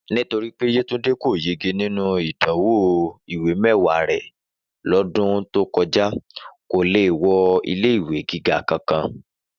Nítorí pé Yétúndé kò yege nínú ìdánwò ìwé mẹ́wàá rẹ̀ lọ́dún tó kọjá, kò lè wọ ilé ìwé gíga kankan